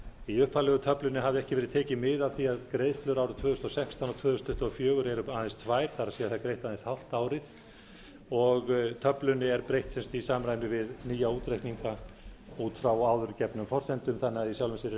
í þeirri upphaflegu hafði ekki verið tekið mið af því að greiðslur árið tvö þúsund og sextán og tvö þúsund tuttugu og fjögur eru aðeins tvær það er það er greitt aðeins hálft árið töflunni er breytt í samræmi við nýja útreikninga út frá áður gefnum forsendum þannig að